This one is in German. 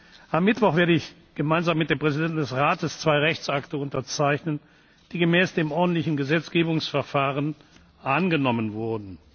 Am Mittwoch werde ich gemeinsam mit dem Präsidenten des Rates zwei Rechtsakte unterzeichnen, die gemäß dem ordentlichen Gesetzgebungsverfahren angenommen wurden.